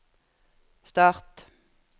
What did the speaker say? start